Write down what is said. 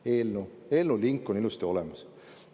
Eelnõu link on ilusti olemas.